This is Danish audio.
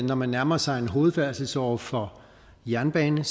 når man nærmer sig en hovedfærdselsåre for jernbane